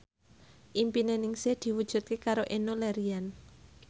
impine Ningsih diwujudke karo Enno Lerian